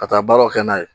Ka taa baaraw kɛ n'a ye